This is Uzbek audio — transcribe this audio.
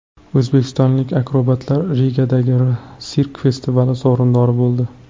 O‘zbekistonlik akrobatlar Rigadagi sirk festivali sovrindori bo‘ldi.